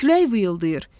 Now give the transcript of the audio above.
Külək vıyıldayır.